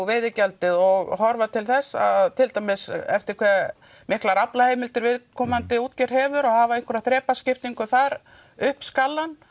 veiðigjaldið og horfa til þess að til dæmis eftir hve miklar aflaheimildir viðkomandi útgerð hefur og hafa einhverja þrepaskiptingu þar upp skalann